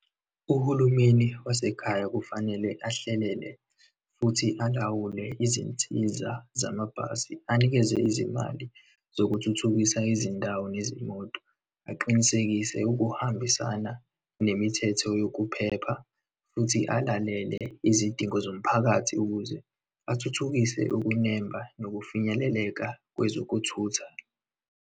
Uhulumeni wasekhaya kufanele ahlelele, futhi alawule izinsiza zamabhasi, anikeze izimali zokuthuthukisa izindawo nezimoto, aqinisekise ukuhambisana nemithetho yokuphepha, futhi alalele izidingo zomphakathi ukuze athuthukise ukunemba nokufinyeleleka kwezokuthutha.